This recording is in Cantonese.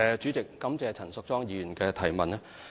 主席，感謝陳淑莊議員的提問。